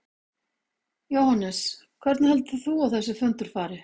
Jóhannes: Hvernig heldur þú að þessi fundur fari?